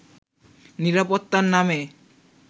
নিরাপত্তার নামে